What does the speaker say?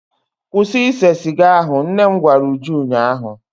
Kwụsị ise siga ahụ! nnem gwara Uju ụnyahụ.